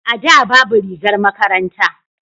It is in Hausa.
a da babu rigar makaranta